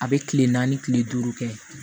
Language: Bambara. A bɛ kile naani kile duuru kɛ